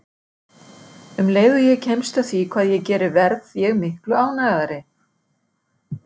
Um leið og ég kemst að því hvað ég geri verð ég miklu ánægðari.